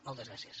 moltes gràcies